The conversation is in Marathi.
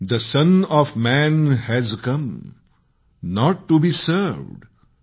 the son of man has come not to be served